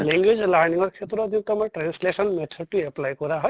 language learning ৰ ক্ষেত্ৰত তোমাক translation method তো apply কৰা হয়